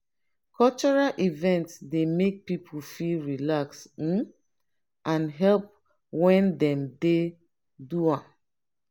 cultural event dey make people feel relax um and happy when dem dey do am.